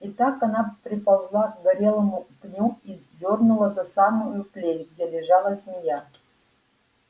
и так она приползла к горелому пню и дёрнула за самую плеть где лежала змея